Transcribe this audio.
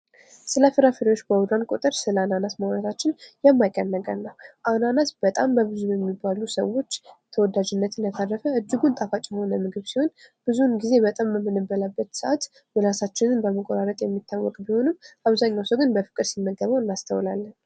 ስለፍራፍሬዎች ባወራን ቁጥር ስለ አናናስ ማዉራታችን የማይቀር ነገር ነው። አናናስ በጣም በብዙ በሚባሉ ሰዎች ተወዳጅነቱን ያተረፈ እጅጉን ጣፋጭ የሆነ ምግብ ሲሆን ብዙዉን ጊዜ በጣም በምንበላበት ሰአት ምላሳአችንን በመቆራረጥ የሚታወቅ ብሆንም አብዛኛዉ ሰው ግን ባፍቅር ሲመገበው እናስተዉላለን።